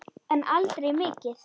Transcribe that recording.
En aldrei mikið.